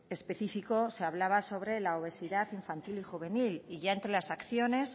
específico se hablaba sobre la obesidad infantil y juvenil y ya entre las acciones